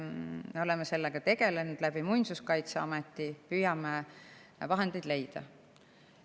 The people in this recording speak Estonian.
Me oleme sellega tegelenud Muinsuskaitseameti kaudu, püüame vahendeid leida.